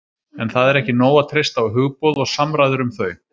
en það er ekki nóg að treysta á hugboð og samræður um þau